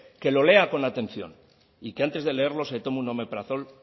que lo lea con atención y que antes de leerlo se tome un omeprazol